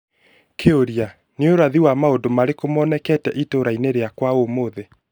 Kĩũria ni urathi wa maũndũ mariko monekete itũũra-inĩ rĩakwa ũmũthĩ?